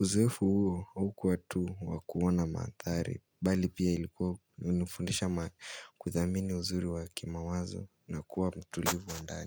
Uzoefu huo haukuwa tu wa kuona manthari Bali pia ilikuwa unifundisha kuthamini uzuri wa kimawazo na kuwa mtulivu wa ndani.